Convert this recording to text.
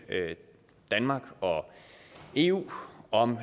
danmark og eu om